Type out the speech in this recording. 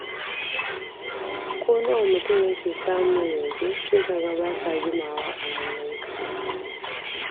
Ko nawa mutum yake samu yanzu, sai kaga ba sa jimawa a hannunka.